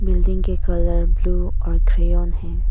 Building के colour blue और ग्रेवन है।